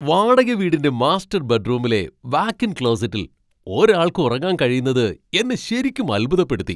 വാടക വീടിന്റെ മാസ്റ്റർ ബെഡ്റൂമിലെ വാക്ക് ഇൻ ക്ലോസറ്റിൽ ഒരാൾക്ക് ഉറങ്ങാൻ കഴിയുന്നത് എന്നെ ശരിക്കും അത്ഭുതപ്പെടുത്തി.